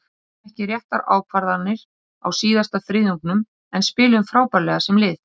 Við tókum ekki réttar ákvarðanir á síðasta þriðjungnum en spiluðum frábærlega sem lið.